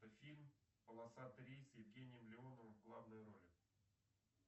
фильм полосатый рейс с евгением леоновым в главной роли